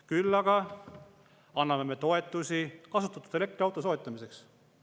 Küll aga anname toetusi kasutatud elektriauto soetamiseks.